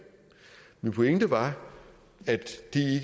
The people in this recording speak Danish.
min pointe var at